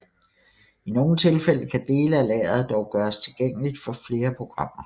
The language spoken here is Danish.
I nogle tilfælde kan dele af lageret dog gøres tilgængeligt for flere programmer